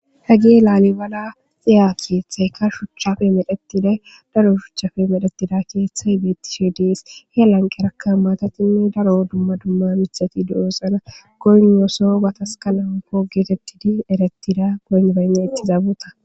hagi laalibala xiya keeththayka shuchchafe medhetiday daro shuchchafe medhetida keeththay bettisi ds he lanqerakka maatatinne daro dumma dumma mithati du7esana goyno so gatas kalapo geetetidi erettida goonbana ittizabuta.